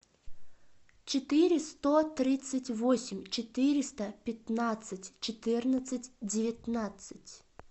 четыре сто тридцать восемь четыреста пятнадцать четырнадцать девятнадцать